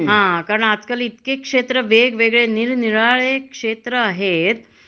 हा. कारण आजकाल इतके क्षेत्र वेगवेगळे नीळनिराळे क्षेत्र आहेत